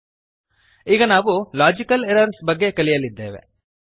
ಈಗ ನಾವು logical errors logical errors ಬಗ್ಗೆ ಕಲಿಯಲಿದ್ದೇವೆ